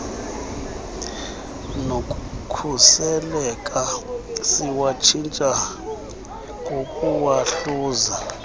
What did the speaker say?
nokuseleka siwatshintshe ngokuwahluza